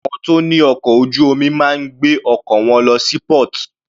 Àwọn tó ní ọkọ̀ ojú omi máa ń gbé ọkọ̀ wọn lọ sí port.